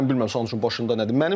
Mən bilmirəm Santuşun başında nədir.